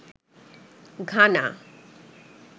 Ghana